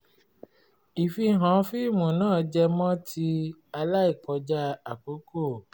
ìfihàn fíìmù náà jẹ́ mọ ti jẹ́ mọ ti aláìkọjá àkókò